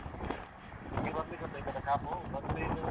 ನಿಮ್ಗೆ ಬರ್ಲಿಕ್ಕ್ ಉಂಟಾ ಈಕಡೆ ಕಾಪು ಬಂದ್ರೆ ಇಲ್ಲ್ ಎಲ್ಲಾ ಬನ್ನಿ.